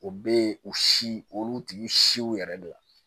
O bɛ yen u si olu tigiw siw yɛrɛ de la